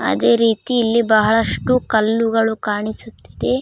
ಅದೇ ರೀತಿ ಇಲ್ಲಿ ಬಹಳಷ್ಟು ಕಲ್ಲುಗಳು ಕಾಣಿಸುತಿದೆ .